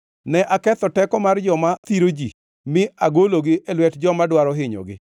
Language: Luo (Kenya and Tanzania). Ne aketho teko mar joma thiro ji mi agologi e lwet joma dwaro hinyogi.